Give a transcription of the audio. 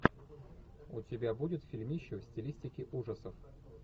у тебя будет фильмище в стилистике ужасов